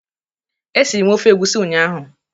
E siri m ofe egusi ụnyaahụ.